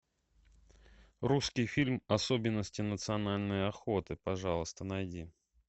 русский фильм особенности национальной охоты пожалуйста найди